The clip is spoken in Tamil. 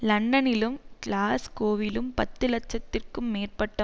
லண்டனிலும் கிளாஸ்கோவிலும் பத்து லட்சத்திற்கும் மேற்பட்ட